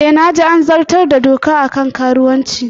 E, na ji an zartar da dokar kan karuwanci